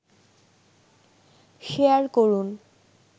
share করুন